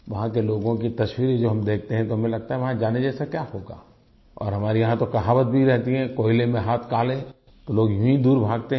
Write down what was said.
वहाँ के लोगों की तस्वीरें जो हम देखते हैं तो हमें लगता है वहाँ जाने जैसा क्या होगा और हमारे यहाँ तो कहावत भी रहती है कि कोयले में हाथ काले तो लोग यूँ ही दूर भागते हैं